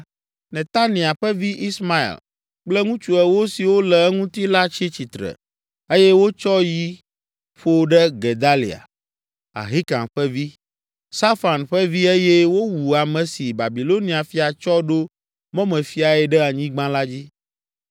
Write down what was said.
Netania ƒe vi, Ismael kple ŋutsu ewo siwo le eŋuti la tsi tsitre, eye wotsɔ yi ƒo ɖe Gedalia, Ahikam ƒe vi, Safan ƒe vi eye wowu ame si Babilonia fia tsɔ ɖo mɔmefiae ɖe anyigba la dzi.